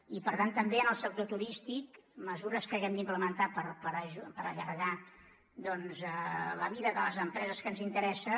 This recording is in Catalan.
i per tant també en el sector turístic mesures que haguem d’implementar per allargar doncs la vida de les empreses que ens interessa